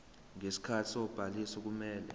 ngesikhathi sobhaliso kumele